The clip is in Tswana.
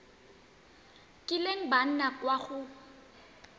kileng ba nna kwa go